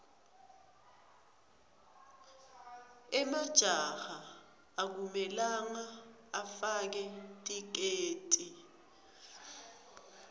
emajaha akumelanga afake tiketi